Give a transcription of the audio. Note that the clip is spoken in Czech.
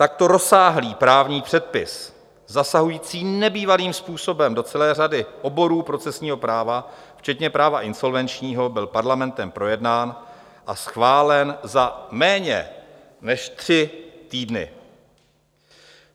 Takto rozsáhlý právní předpis zasahující nebývalým způsobem do celé řady oborů procesního práva včetně práva insolvenčního byl Parlamentem projednán a schválen za méně než tři týdny.